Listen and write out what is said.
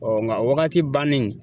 Ɔ nga o wagati bannen